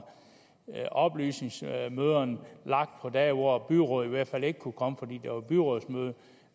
oplysningsmøderne blev lagt på dage hvor byrådet i hvert fald ikke kunne komme fordi der var byrådsmøde